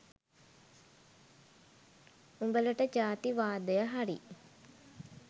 උබලට ජාති වාදය හරි